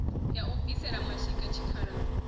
ya u bvisela mashika tshikhalani